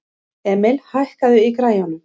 Emil, hækkaðu í græjunum.